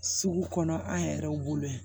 Sugu kɔnɔ an yɛrɛw bolo yan